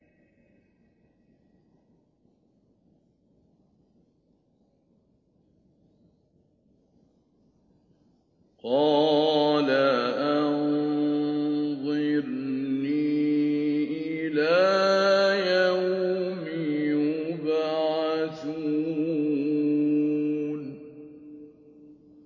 قَالَ أَنظِرْنِي إِلَىٰ يَوْمِ يُبْعَثُونَ